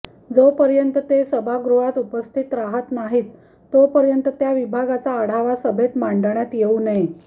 जोपर्यंत ते सभागृहात उपस्थित राहत नाहीत तोपर्यंत त्या विभागाचा आढावा सभेत मांडण्यात येवू नये